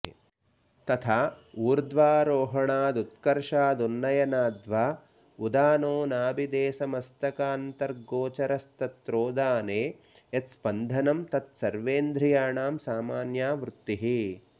तथा ऊर्ध्वारोहणादुत्कर्षादुन्नयनाद्वा उदानो नाभिदेशमस्तकान्तर्गोचरस्तत्रोदाने यत्स्पन्दनं तत् सर्वेन्द्रियाणां सामान्या वृत्तिः